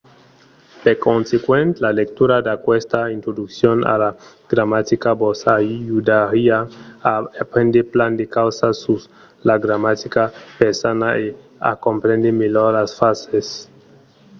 per consequent la lectura d'aquesta introduccion a la gramatica vos ajudariá a aprendre plan de causas sus la gramatica persana e a comprendre melhor las frasas